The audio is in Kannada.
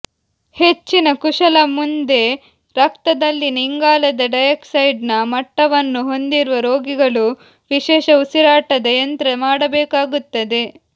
ಹೆಚ್ಚಿನ ಕುಶಲ ಮುಂದೆ ರಕ್ತದಲ್ಲಿನ ಇಂಗಾಲದ ಡೈಯಾಕ್ಸೈಡ್ನ ಮಟ್ಟವನ್ನು ಹೊಂದಿರುವ ರೋಗಿಗಳು ವಿಶೇಷ ಉಸಿರಾಟದ ಯಂತ್ರ ಮಾಡಬೇಕಾಗುತ್ತದೆ